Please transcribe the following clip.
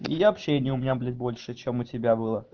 и общения у меня блять больше чем у тебя было